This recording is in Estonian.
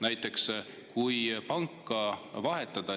Näiteks, kui panka vahetada …